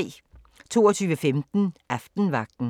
22:15: Aftenvagten